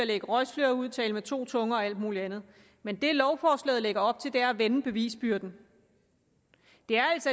at lægge røgslør ud tale med to tunger og alt muligt andet men det lovforslaget lægger op til er at vende bevisbyrden